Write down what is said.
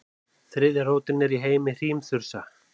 Þriðja rótin er í heimi hrímþursa.